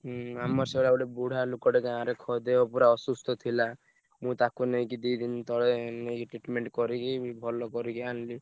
ହୁଁ ଆମର ସେଇଭଳିଆ ଗୋଟେ ବୁଢା ଲୋକଟେ ଗାଁରେ ଖ~ ଦେହ ପୁରା ଅସୁସ୍ଥ ଥିଲା। ମୁଁ ତାକୁ ନେଇକି ଦି ଦିନି ତଳେ ଉଁ ନେଇକି treatment କରିକି ଭଲ କରିକି ଆଣିଲି।